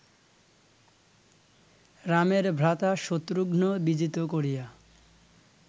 রামের ভ্রাতা শত্রুঘ্ন বিজিত করিয়া